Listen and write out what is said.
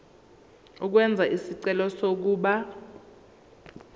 ukwenza isicelo sokuba